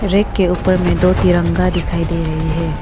Rack के ऊपर में दो तिरंगा दिखाई दे रही है।